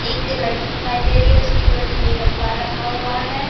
एक लड़की दिखाई दे रही है उसकी गोदी में एक अखबार रखा हुआ है।